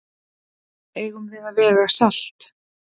Eigum við að vega salt?